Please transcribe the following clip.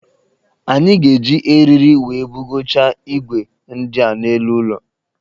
Anyị ga-eji eriri wee bugocha igwe ndi a n'elu ụlọ